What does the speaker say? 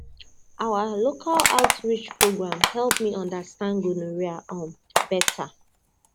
one local outreach program help me understand gonorrhea um better